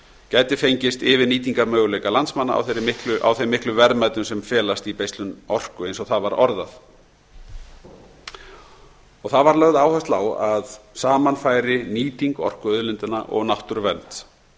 gæti fengist yfir nýtingarmöguleika landsmanna á þeim miklu verðmætum sem felst í beislun orku eins og eins og það var orðað það var lögð áhersla á að saman færi nýting orkuauðlindanna og náttúruvernd